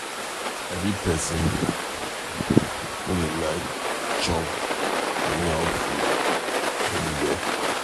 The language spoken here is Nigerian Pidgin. I be person no dey like chop anyhow food anywhere.